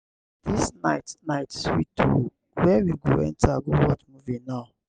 dis night night sweet oo where we go enter go watch movie now?